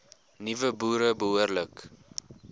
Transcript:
nuwe boere behoorlik